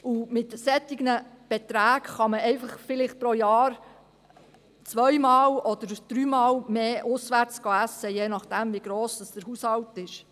Mit solchen Beträgen kann man vielleicht pro Jahr einfach zwei- oder dreimal mehr auswärts essen gehen, je nachdem wie gross der Haushalt ist.